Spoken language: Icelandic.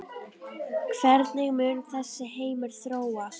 Hvernig mun þessi heimur þróast?